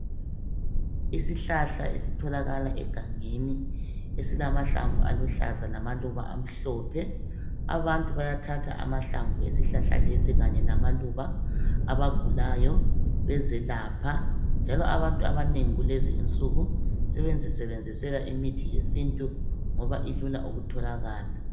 Isihlahla esitholakla egangeni esilama hlamvu aluhlaza lamaluba amhlophe. Abantu bayathatha amahlamvu esihlahla lesi kanye lamaluba .Abagulayo bezelapha .Njalo abantu abanengi kulezi insuku sebezisebenzisela imithi yesintu ngoba ilula ukutholakala.